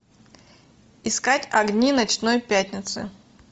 искать огни ночной пятницы